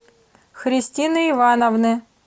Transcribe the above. христины ивановны